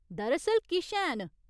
दर असल किश हैन।